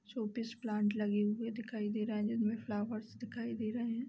Showpiece plant लगे हुए दिखाई दे रहा है । जिनमे फ्लावर्स दिखाई दे रहे हैं ।